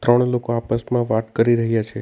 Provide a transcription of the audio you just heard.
ત્રણ લોકો આપસમાં વાત કરી રહ્યા છે.